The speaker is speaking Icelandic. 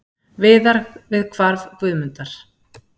Viðar við hvarf Guðmundar.